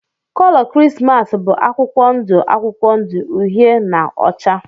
Kolo Krismas bụ akwụkwọ ndụ akwụkwọ ndụ, uhie na ọcha.